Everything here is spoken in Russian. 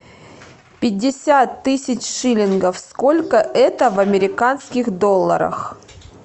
пятьдесят тысяч шиллингов сколько это в американских долларах